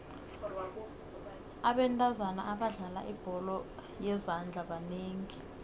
abentazana abadlala ibholo yezandla banengi